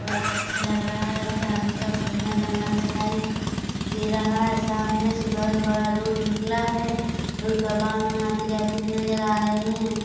बहोत अच्छा लग रहा है चारों तरफ घना जंगल दिखाई दे रहा है सामने से बहोत बड़ा रोड़ निकला है रोड़ पर वाहन आते-जाते नज़र आ रहें हैं।